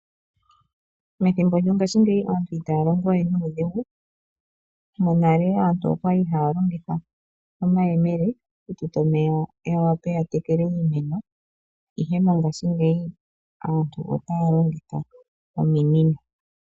Methimbo lyongashi ngeyi aantu itaya longitha we nuudhigu monale aantu okwali haya longitha omayemele okututa omeya ya wape ya tekele iimeno ihe mongashi ngeyi aantu otaya longitha ominino.